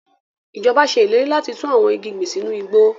Ijọba ṣe ileri lati tun awọn igi gbin sinu igbo